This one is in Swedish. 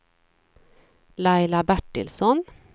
Laila Bertilsson